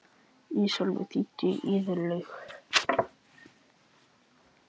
Ísólfur, hringdu í Irlaug.